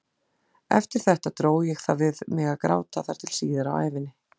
Eftir þetta dró ég það við mig að gráta þar til síðar á ævinni.